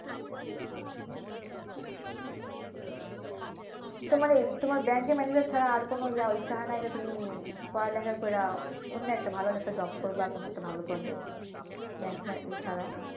তোমার এই তোমার ব্যংকের ম্যানেজার ছাড়া আর কোন ইয়া ইচ্ছে হয়না যে তুমি ইয়ে পড়ালেখা কইরা অন্য একটা ভালো job করবা বা কোন একটা পদে ব্যংক ইয়ে ছাড়া?